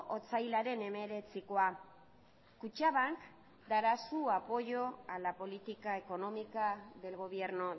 otsailaren hemeretzikoa kutxabank dará su apoyo a la política económica del gobierno